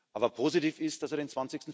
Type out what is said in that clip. Aber positiv ist, dass er den